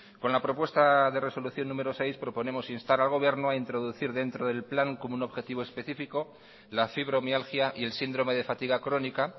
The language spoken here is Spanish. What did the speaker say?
con la propuesta de resolución número seis proponemos instar al gobierno a introducir dentro del plan como un objetivo específico la fibromialgia y el síndrome de fatiga crónica